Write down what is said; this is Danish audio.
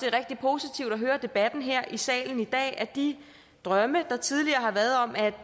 er rigtig positivt at høre debatten her i salen i dag altså at de drømme der tidligere har været om at